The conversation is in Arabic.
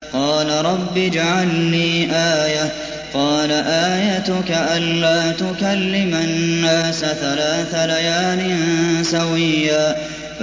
قَالَ رَبِّ اجْعَل لِّي آيَةً ۚ قَالَ آيَتُكَ أَلَّا تُكَلِّمَ النَّاسَ ثَلَاثَ لَيَالٍ سَوِيًّا